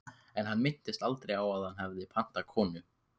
En hann minntist aldrei á að hann hefði pantað konu.